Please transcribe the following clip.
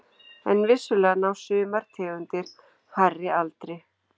en vissulega ná sumar tegundir hærri aldri